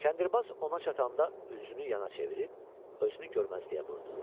Kəndirbaz ona çatanda üzünü yana çevirib, özünü görməzliyə vurdu.